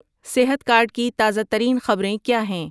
صحت کارڈ کی تازہ ترین خبریں کیا ہیں